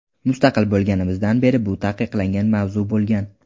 Mustaqil bo‘lganimizdan beri bu taqiqlangan mavzu bo‘lgan.